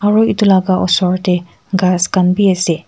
aro itulaga osor tey ghas kan bi ase.